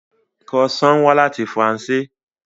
Croissant wá láti Faransé